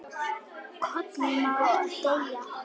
KOLUR MÁ EKKI DEYJA